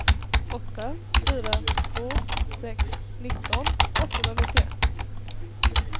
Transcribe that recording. åtta fyra två sex nitton åttahundranittioett